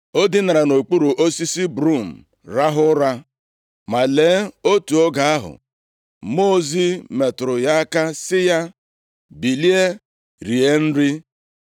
O dinara nʼokpuru osisi brum rahụ ụra. Ma lee, otu oge ahụ, mmụọ ozi metụrụ ya aka, sị ya, “Bilie, rie nri.”